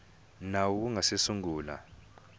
nawu wu nga si sungula